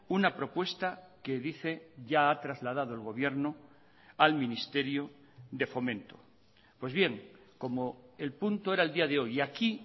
una propuesta que dice ya ha trasladado el gobierno al ministerio de fomento pues bien como el punto era el día de hoy y aquí